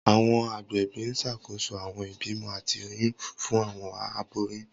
Awọn agbẹbi n ṣakoso awọn ibimọ ati oyun fun awọn aboyun.